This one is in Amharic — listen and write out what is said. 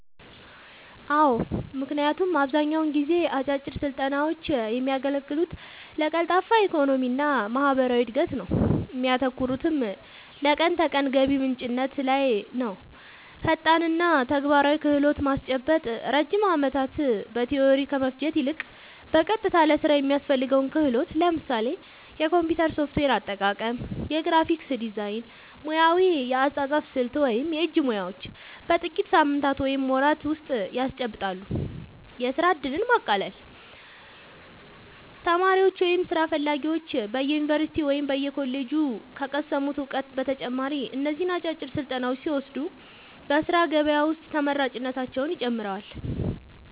አዎ ምክንያቱም አብዛኛውን ጊዜ አጫጭር ስልጠናውች የሚያገለግሉት ለቀልጣፋ የኢኮኖሚና ማህበራዊ እድገት ነው እሚያተኩሩትም ለቀን ተቀን ገቢ ምንጭነት ላይ ነውፈጣንና ተግባራዊ ክህሎት ማስጨበጥ ረጅም ዓመታት በቲዎሪ ከመፍጀት ይልቅ፣ በቀጥታ ለሥራ የሚያስፈልገውን ክህሎት (ለምሳሌ የኮምፒውተር ሶፍትዌር አጠቃቀም፣ የግራፊክስ ዲዛይን፣ ሙያዊ የአጻጻፍ ስልት ወይም የእጅ ሙያዎች) በጥቂት ሳምንታት ወይም ወራት ውስጥ ያስጨብጣሉ። የሥራ ዕድልን ማቃለል : ተማሪዎች ወይም ሥራ ፈላጊዎች በዩኒቨርሲቲ ወይም በኮሌጅ ከቀሰሙት እውቀት በተጨማሪ እነዚህን አጫጭር ስልጠናዎች ሲወስዱ በሥራ ገበያ ውስጥ ተመራጭነታቸውን ይጨምረዋል።